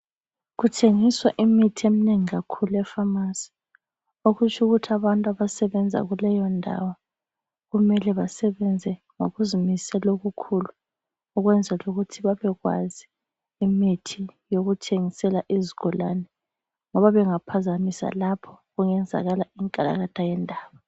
Kuthengiswa imithi eminengi kakhulu epharmacy okutsho ukuthi abantu abasebenza kuleyo ndawo kumele basebenze ngokuzimisela okukhulu ukwenzela ukuthi babekwazi imithi yokuthengisela izigulane ngoba bengaphazamisa lapho kungenzakala inkalakatha yendaba.